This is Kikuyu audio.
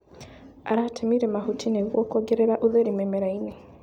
Aratemire mahuti nĩguo kuongerera ũtheri mĩmerainĩ.